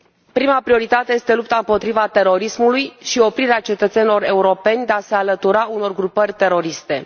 Prima prioritate este lupta împotriva terorismului și oprirea cetățenilor europeni de a se alătura unor grupări teroriste.